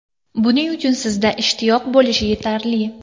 Buning uchun sizda ishtiyoq bo‘lishi yetarli.